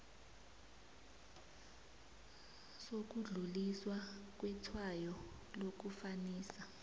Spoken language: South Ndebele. sokudluliswa kwetshwayo lokufanisa